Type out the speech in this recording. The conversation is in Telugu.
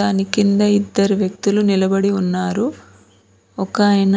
దాని కింద ఇద్దరు వ్యక్తులు నిలబడి ఉన్నారు ఒకాయన